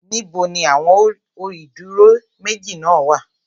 Níbo ni àwọn ó ìdúró méjì náà wà?